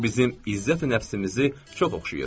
Bu bizim izzəti nəfsimizi çox oxşayır.